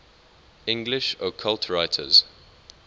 english occult writers